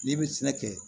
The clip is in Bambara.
N'i bɛ sɛnɛ kɛ